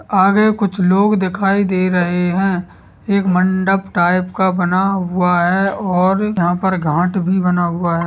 आगे कुछ लोग दिखाई दे रहे हैं। एक मंडप टाइप का बना हुआ है और यहाँ पर घाट भी बना हुआ है।